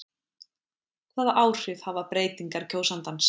Hvaða áhrif hafa breytingar kjósandans?